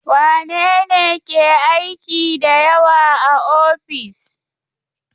Wane ne ke aiki da yawa a ofis?